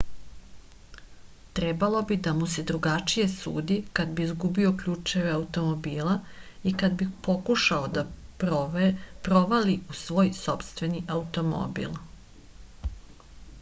trebalo bi da mu se drugačije sudi kad bi izgubio ključeve automobila i kad bi pokušavao da provali u svoj sopstveni automobil